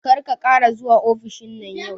Kar ka ƙara zuwa ofishin nan yau